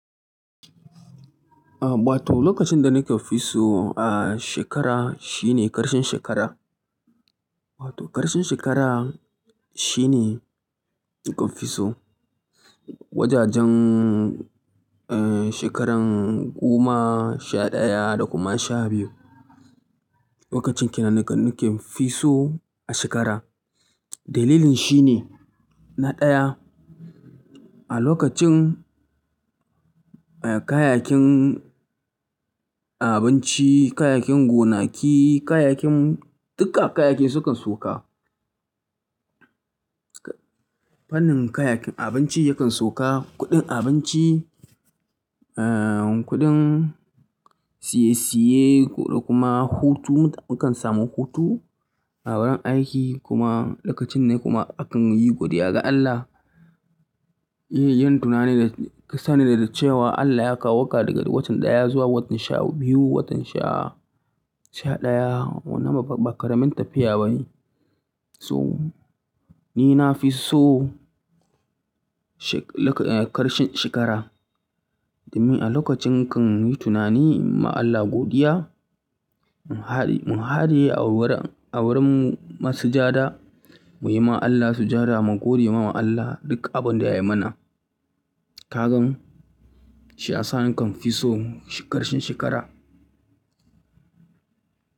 Ah, bata lokacin da nake fi so ah, shekara shine karshen shekara. Wato ƙarshen shekara shine nkafi so. Wajajen eh, shekaran goma, sha ɗaya da kuma sha biyu. Lokacin kenan da nakefiso ashe kara dalilin shine na ɗaya, a lokacin eh, kayayyakin abinci, kayayyakin gonaki, kayayyakin duka kayakin su kan soka. Fannin kayayyakin abinci yakan soka, kuɗin abinci, eh, kuɗin siye-siye ko da kuma hutu mukan samu hutu. Awuri aiki kuma lokacin ne kuma akan yi godiya ga Allah. Yi yin tunani da kasa ne da cewa Allah ya kawoka daga watan ɗaya zuwa watan sha biyu, watan sha, sha ɗaya. Wannan babba ba ƙaramin tafiya ba ne. So ni na fi so she-- loka-- karshen shekara ni alokacin nakanyi tunani inyi godiya ga Allah muhade muhade a wurin a wurin mu masjida muyiwa Allah sujada mu godewa Allah duk abinda ra muna Kagaan shi ya sa nakan fi so karshen shekara.